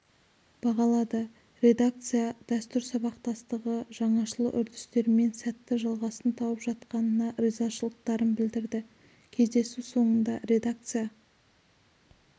бағалады редакцияда дәстүр сабақтастығы жаңашыл үрдістермен сәтті жалғасын тауып жатқанына ризашылықтарын білдірді кездесу соңында редакция